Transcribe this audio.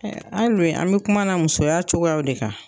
Hali bi an bɛ kuma na musoya cogoya de kan.